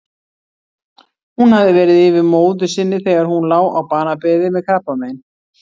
Hún hafði verið yfir móður sinni þegar hún lá á banabeði með krabbamein.